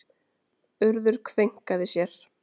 Urður kveinkaði sér.